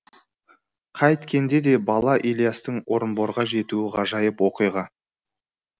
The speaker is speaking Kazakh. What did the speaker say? қайткенде де бала ілиястың орынборға жетуі ғажайып оқиға